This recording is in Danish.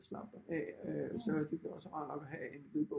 Slappe af så er det også rart at have en lydbog